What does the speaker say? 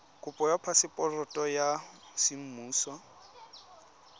kopo ya phaseporoto ya semmuso